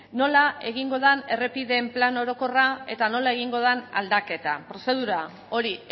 nola egingo den errepideen plan orokorra eta nola egingo den aldaketa prozedura hori